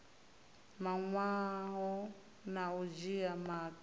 mawanwa na u dzhia maga